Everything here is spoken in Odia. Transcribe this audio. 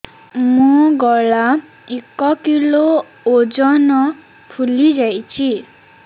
ମୋ ଗଳା ଏକ କିଲୋ ଓଜନ ଫୁଲି ଯାଉଛି